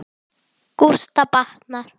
Gústa batnar.